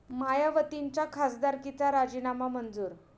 मायावतींच्या खासदारकीचा राजीनामा मंजूर